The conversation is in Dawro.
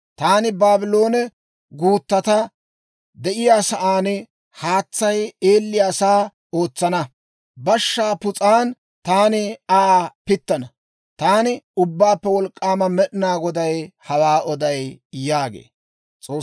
Taani Baabloone Gutatta de'iyaasaanne haatsay eelliyaasaa ootsana; bashshaa pus'an taani Aa pittana. Taani Ubbaappe Wolk'k'aama Med'inaa Goday hawaa oday» yaagee.